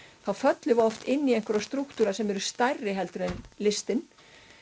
þá föllum við oft inn í einhverja strúktúra sem eru stærri heldur en listin